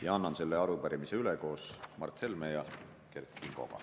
Ja annan selle arupärimise üle koos Mart Helme ja Kert Kingoga.